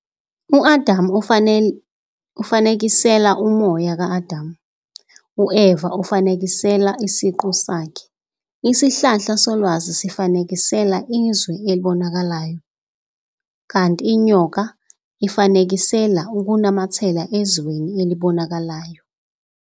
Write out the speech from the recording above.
U-Adam ufanekisela "umoya ka-Adam", u-Eva ufanekisela "isiqu Sakhe", isihlahla solwazi sifanekisela "izwe elibonakalayo", kanti inyoka ifanekisela "ukunamathela ezweni elibonakalayo".